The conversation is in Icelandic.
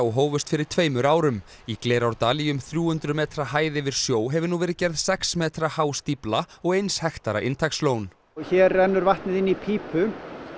hófust fyrir tveimur árum í Glerárdal í um þrjú hundruð metra hæð yfir sjó hefur nú verið gerð sex metra há stífla og eins hektara inntakslón hér rennur vatnið inn í pípu